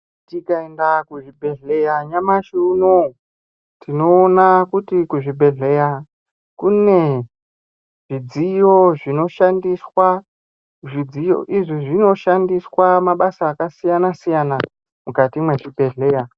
Tikaenda kuzvibhedhlera nyamashi unouyu tinoona kuti kuzvibhedhlera zvudziyo zvinoshandiswa mabasa akasiyana siyana.